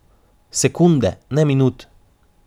Sekunde, ne minut!